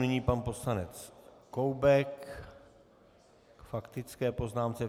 Nyní pan poslanec Koubek k faktické poznámce.